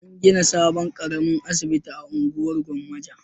An gina sabon ƙaramin asibiti a unguwar Gwammaja.